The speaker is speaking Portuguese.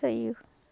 Saiu.